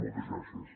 moltes gràcies